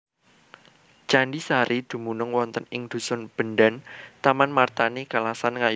Candhi Sari dumunung wonten ing dhusun Bendan Tamanmartani Kalasan Ngayogyakarta